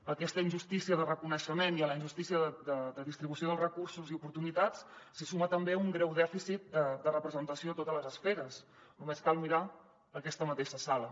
a aquesta injustícia de reconeixement i a la injustícia de distribució dels recursos i oportunitats s’hi suma també un greu dèficit de representació a totes les esferes només cal mirar aquesta mateixa sala